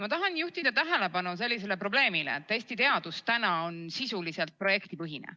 Ma tahan juhtida tähelepanu sellisele probleemile, et Eesti teadus on sisuliselt projektipõhine.